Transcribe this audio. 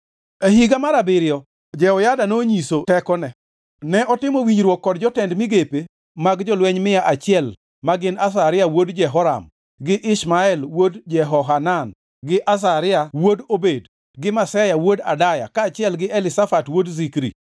E higa mar abiriyo Jehoyada nonyiso tekone. Ne otimo winjruok kod jotend migepe mag jolweny mia achiel magin Azaria wuod Jeroham gi Ishmael wuod Jehohanan gi Azaria wuod Obed gi Maseya wuod Adaya kaachiel gi Elishafat wuod Zikri.